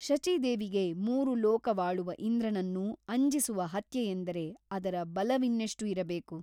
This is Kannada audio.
ಶಚಿದೇವಿಗೆ ಮೂರು ಲೋಕವಾಳುವ ಇಂದ್ರನನ್ನೂ ಅಂಜಿಸುವ ಹತ್ಯೆಯೆಂದರೆ ಅದರ ಬಲವಿನ್ನೆಷ್ಟು ಇರಬೇಕು?